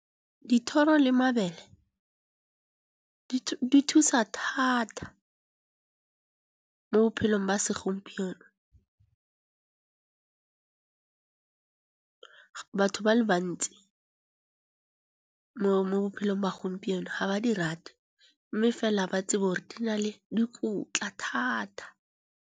Dithoro le mabele di thusa thata mo bophelong ba segompieno. Batho ba le bantsi mo bophelong ba gompieno ha ba di rate, mme fela ba itse gore di na le dikotla thata.